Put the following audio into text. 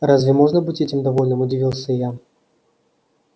разве можно быть этим довольным удивился я